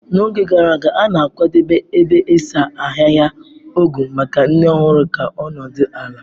N'oge gara aga, a na-akwadebe ebe ịsa ahịhịa ogwu maka nne ọhụrụ ka ọ nọdụ ala.